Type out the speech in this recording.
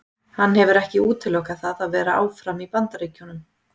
Hann hefur ekki útilokað það að vera áfram í Bandaríkjunum.